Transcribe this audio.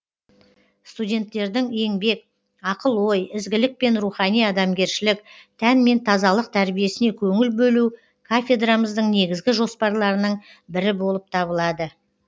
студенттердің еңбек ақыл ой ізгілік пен рухани адамгершілік тән мен тазалық тәрбиесіне көңіл бөлу кафедрамыздың негізгі жоспарларының бірі болып табылады